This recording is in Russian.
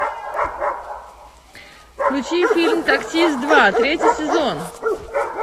включи фильм таксист два третий сезон